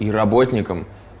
и работникам